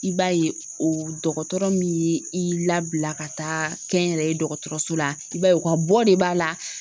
I b'a ye o dɔgɔtɔrɔ min ye i labila ka taa kɛ n yɛrɛ ye dɔgɔtɔrɔso la i b'a ye u ka bɔ de b'a la